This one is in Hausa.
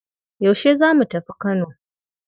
Yaushe za mu tafi Kano?